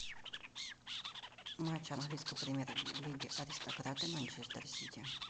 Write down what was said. матч английской премьер лиги аристократы манчестер сити